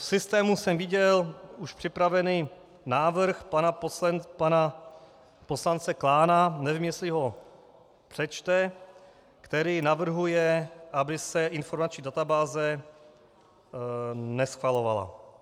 V systému jsem viděl už připravený návrh pana poslance Klána, nevím, jestli ho přečte, který navrhuje, aby se informační databáze neschvalovala.